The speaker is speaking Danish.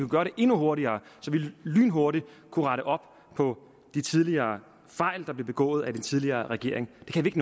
gøre det endnu hurtigere så vi lynhurtigt kunne rette op på de tidligere fejl der blev begået af den tidligere regering det kan vi